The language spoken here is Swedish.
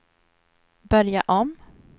börja om